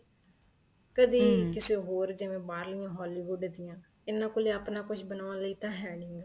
ਕਦੇ ਕਿਸੇ ਹੋਰ ਜਿਵੇਂ ਬਾਹਰ ਲਿਆਂ Hollywood ਦੀਆਂ ਇਹਨਾ ਕੋਲ ਆਪਣਾ ਕੁੱਛ ਬਣਾਉਣ ਲਈ ਤਾਂ ਹੈ ਨਹੀਂਗਾ